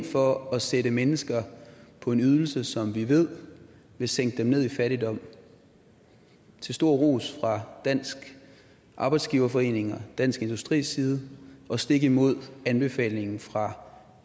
for at sætte mennesker på en ydelse som vi ved vil sænke dem ned i fattigdom til stor ros fra dansk arbejdsgiverforening og dansk industris side og stik imod anbefalingen fra